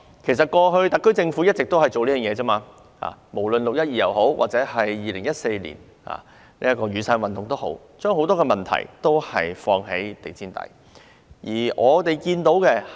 其實，特區政府過去一直都是這樣做，無論是"六一二"事件，又或是2014年的雨傘運動，政府都把所有問題掃入地氈底。